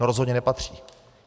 No rozhodně nepatří.